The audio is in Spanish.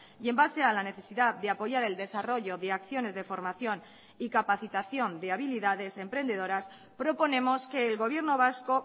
y en base a la necesidad de apoyar el desarrollo de acciones de formación y capacitación de habilidades emprendedoras proponemos que el gobierno vasco